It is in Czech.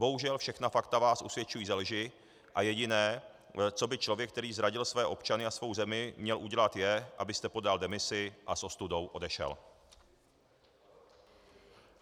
Bohužel, všechna fakta vás usvědčují ze lži a jediné, co by člověk, který zradil své občany a svou zemi, měl udělat, je, abyste podal demisi a s ostudou odešel.